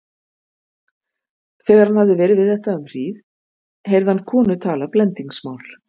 Þegar hann hafði verið við þetta um hríð heyrði hann konu tala blendingsmál.